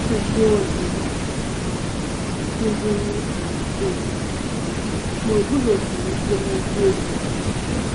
Ọ bụ mmụọ ozi zuru um okè, ma o “guzosighị ike n’eziokwu.